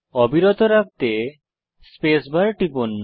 অবিরত রাখতে space bar টিপুন